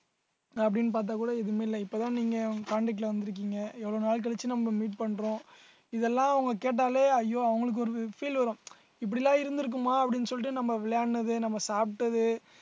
அப்படின்னு பார்த்தா கூட எதுவுமே இல்ல இப்பதான் நீங்க contact ல வந்துருக்கீங்க எவ்வளவு நாள் கழிச்சு நம்ம meet பண்றோம் இதெல்லாம் அவங்க கேட்டாலே ஐயோ அவங்களுக்கு ஒரு feel வரும் இப்படி எல்லாம் இருந்திருக்குமா அப்படின்னு சொல்லிட்டு நம்ம விளையாடுனது நம்ம சாப்பிட்டது